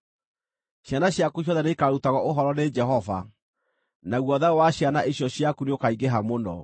Ciana ciaku ciothe nĩikarutagwo ũhoro nĩ Jehova, naguo thayũ wa ciana icio ciaku nĩũkaingĩha mũno.